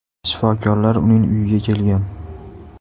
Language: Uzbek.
Shifokorlar uning uyiga kelgan.